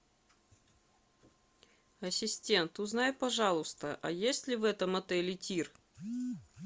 ассистент узнай пожалуйста а есть ли в этом отеле тир